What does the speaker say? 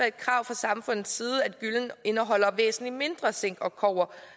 et krav fra samfundets side at gyllen indeholder væsentlig mindre zink og kobber